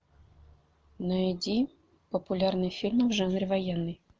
найди популярные фильмы в жанре военный